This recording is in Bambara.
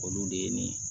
Olu de ye nin ye